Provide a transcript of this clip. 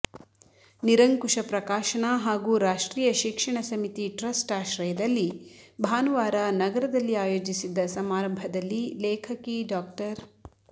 ನಿರಂಕುಶ ಪ್ರಕಾಶನ ಹಾಗೂ ರಾಷ್ಟ್ರೀಯ ಶಿಕ್ಷಣ ಸಮಿತಿ ಟ್ರಸ್ಟ್ ಆಶ್ರಯದಲ್ಲಿ ಭಾನುವಾರ ನಗರದಲ್ಲಿ ಆಯೋಜಿಸಿದ್ದ ಸಮಾರಂಭದಲ್ಲಿ ಲೇಖಕಿ ಡಾ